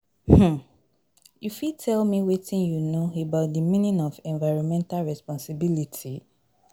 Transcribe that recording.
um you fit tell me wetin you know about di meaning of environmental responsibility